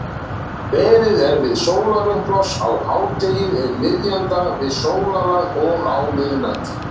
Beðið er við sólarupprás, á hádegi, um miðjan dag, við sólarlag og á miðnætti.